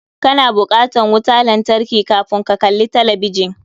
Ka na bukatan wuta lantarki kafun ka kalli talabijin.